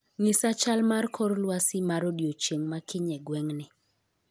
Ng'isa chal mar kor lwasi mar odiechieng' ma kiny e gweng'ni